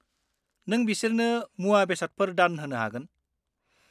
नों बिसोरनो मुवा-बेसादफोर दान होनो हागोन।